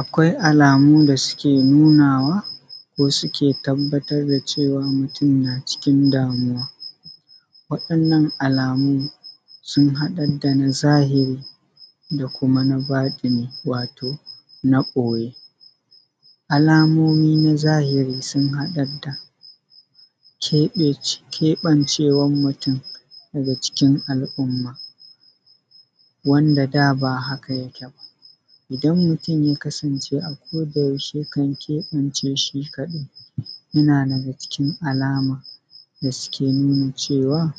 Akwai alamu da suke nunawa ko suke tabbatar da cewa mutum na cikin damuwa. Waɗannan alamu sun haɗar da na zahiri da kuma na baɗini wato na ɓoye. Alamomi na zahiri sun haɗa da keɓancewan mutum daga cikin al’umma, wanda da ba haka yake ba, idan mutum ya kasance a ko da yaushe yakan kebance shi kadai, yana daga cikin alama da suke nuna cewa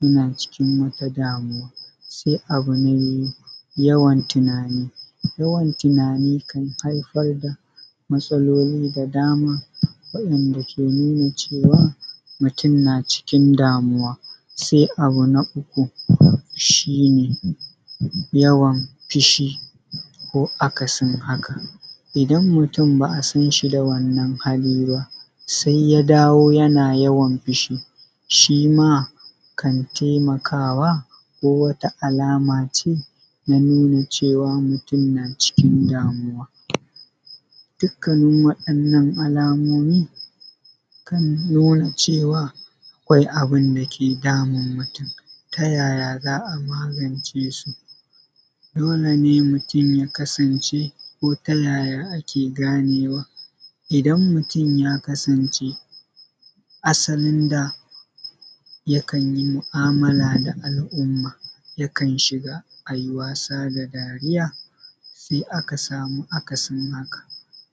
yana cikin wata damuwa. Sai abu me, yawan tunani, yawan tunani kan haifar da matsaloli da dama wa’inda ke nuna cewa mutum na cikin damuwa. Sai abu na uku shi ne yawan fishi ko akasin haka, idan mutum ba a san shi da wannan hali ba, sai ya dawo yana yawan fishi shima kan taimakawa ko wata alama ce na nuna cewa mutum na cikin damuwa. Dukkanin wadannan alamomi kan nuna cewa akwai abinda ke damun mutum. Tayaya za a magance su? Dole ne mutum ya kasance ko ta yaya ake ganewa? Idan mutum ya kasance asalin da yakan yi mu’amala da al’umma, yi kan yi shiga ayi wasa da dariya sai aka samu akasin haka,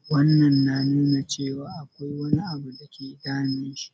wannan na nuna cewa akwai wani abu dake damun shi.